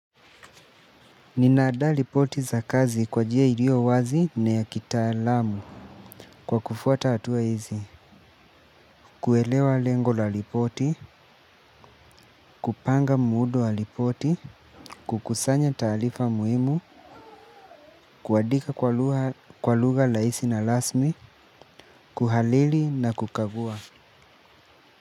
Ninaada lipoti za kazi kwa jia ilio wazi na ya kitaalamu kwa kufuata atua hizi, kuelewa lengo la lipoti, kupanga muudu wa lipoti, kukusanya taalifa muhimu, kuadika kwa luga laisi na lasmi, kuhalili na kukavua.